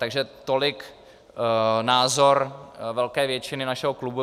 Takže tolik názor velké většiny našeho klubu.